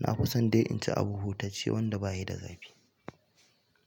na fi son dai in ci abu hutacce wanda baya da zafi.